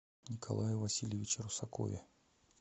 николае васильевиче русакове